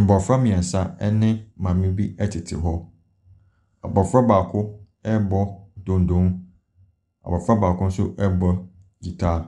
Mmɔfra mmeɛnsa ne maame bi tete hɔ. Abɔfra baako rebɔ donno, abɔfra baako nso rebɔ guitar.